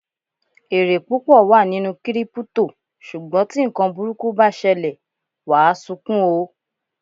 Èrè púpọ̀ wà nínú Kírípútò, ṣùgbọ́n tí ǹkan burúkú bá ṣẹlẹ̀, wàá sunkún o!